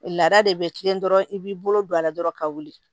Laada de bɛ kilen dɔrɔn i b'i bolo don a la dɔrɔn ka wuli